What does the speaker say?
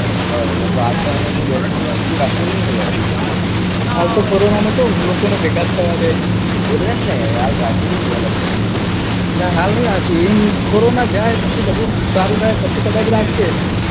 બરોબર તો હાલ તો એમનું બેસણું ને એ બીજુ ને એ રાખ્યું ની હોય હાલ તો કોરોના માં ક્યાં લોકો નૈ ભેગા જ થવા દે એટલે જ ને હાલ રાખ્યું ની હોય લગભગ સુધી ના હાલ ની રાખ્યું કોરોના જાયે પછી બધું સારું થાય પછી કદાચ રાખ સે